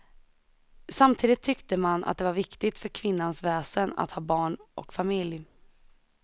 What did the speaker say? Samtidigt tyckte man att det var viktigt för kvinnans väsen att ha barn och familj.